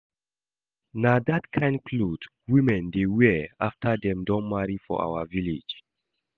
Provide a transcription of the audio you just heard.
Na that kyn cloth women dey wear after dem don marry for our village